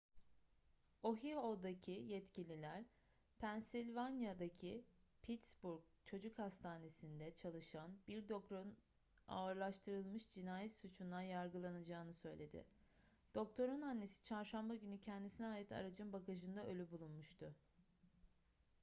ohio'daki yetkililer pennsylvania'daki pittsburgh çocuk hastanesi'nde çalışan bir doktorun ağırlaştırılmış cinayet suçundan yargılanacağını söyledi doktorun annesi çarşamba günü kendisine ait aracın bagajında ölü bulunmuştu